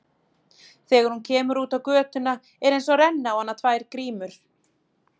Þegar hún kemur út á götuna er einsog renni á hana tvær grímur.